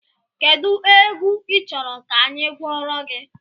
Kedụ egwu ị chọrọ ka anyị gụọrọ gị?